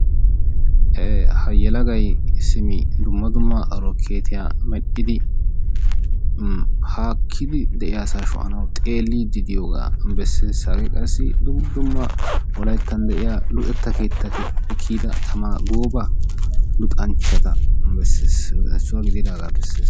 Ha yelaga simi dumma dumma orokeetiya meedhdhidi haakkidi de'iyaa asaa sho'anawu xeellidi diyooga beessees. Hage qassi dumma dumma wolayttan de'iya luxeta keettati kiyyida tamaa gooba luxanchchata issuwa gididagaa beessees.